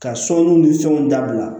Ka sɔnni ni fɛnw dabila